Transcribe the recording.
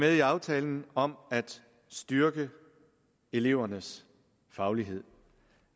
i aftalen om at styrke elevernes faglighed